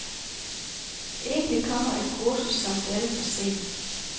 Egentlig kommer et kursus som dette for sent.